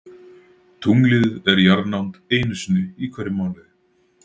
Tunglið er í jarðnánd einu sinni í hverjum mánuði.